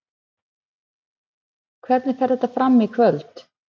Hvernig fer þetta fram í kvöld?